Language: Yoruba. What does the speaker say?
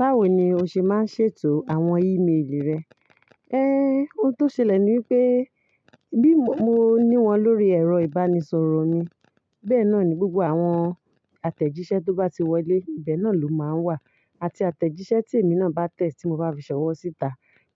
Báwo ni o ṣe máa ń ṣètò àwọn ímeèlì rẹ? Ehn, ohun tó ṣẹlẹ̀ ni wípé bí mo ní wọn lórí ẹ̀rọ ìbánisọ̀rọ̀ mi, bẹ́ẹ̀ náà ni gbogbo àwọn àtẹ̀jíṣẹ́ tó bá ti wọlé, ibẹ̀ náà ló máa wà. Àti àtẹ̀jíṣẹ́ tí èmi náà bá tẹ̀ tí mo bá fi ṣọ̀wọ́ síta,